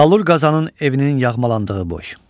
Salur Qazanın evinin yağmalandığı boy.